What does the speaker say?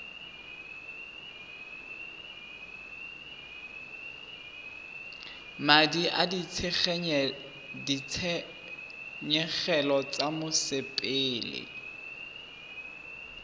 madi a ditshenyegelo tsa mosepele